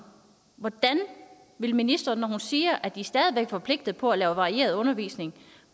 hvordan vil ministeren når hun siger at de stadig væk er forpligtet på at lave varieret undervisning